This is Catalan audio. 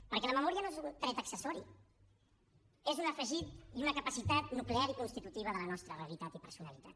perquè la memòria no és un tret accessori és un afegit i una capacitat nuclear i constitutiva de la nostra realitat i personalitat